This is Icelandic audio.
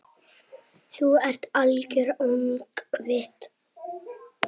Þú ert algert öngvit!